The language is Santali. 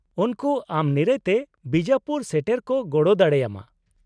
-ᱩᱱᱠᱩ ᱟᱢ ᱱᱤᱨᱟᱹᱭ ᱛᱮ ᱵᱤᱡᱟᱯᱩᱨ ᱥᱮᱴᱮᱨ ᱠᱚ ᱜᱚᱲᱚ ᱫᱟᱲᱮᱭᱟᱢᱟ ᱾